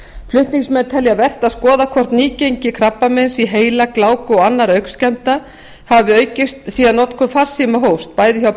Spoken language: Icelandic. flutningsmenn telja vert að skoða hvort nýgengi krabbameins í heila gláku og annarra augnskemmda hafi aukist síðan notkun farsíma hófst bæði hjá